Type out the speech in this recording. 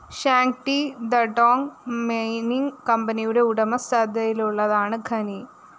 Shanxi Datong mining കമ്പനിയുടെ ഉടമസ്ഥതയിലുള്ളതാണ് mine